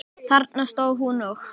Þarna stóð hún og.